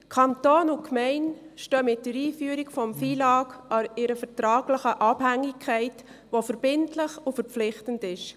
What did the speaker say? Kanton und Gemeinde stehen mit der Einführung des FILAG in einer vertraglichen Abhängigkeit, die verbindlich und verpflichtend ist.